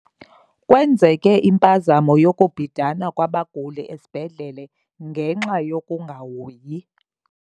Kwenzeke impazamo yokubhidana kwabaguli esibhedlele ngenxa yokungahoyi.